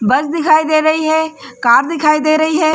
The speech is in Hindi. बस दिखाई दे रही है कैब दिखाई दे रही है।